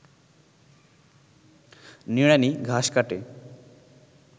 নিড়ানি ঘাস কাটে